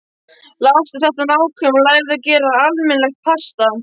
Lestu þetta nákvæmlega og lærðu að gera almennilegt pasta.